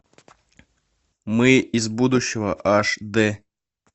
мы из будущего аш д